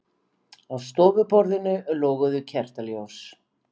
Á stofuborðinu loguðu kertaljós.